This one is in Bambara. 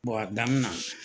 adamina.